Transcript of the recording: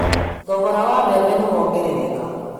Thogora wa mbembe nĩ wongerereka